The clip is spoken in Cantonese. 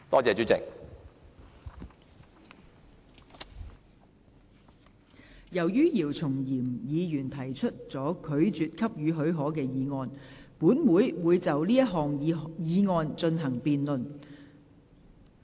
由於姚松炎議員提出了拒絕給予許可的議案，本會會就這項議案進行辯論。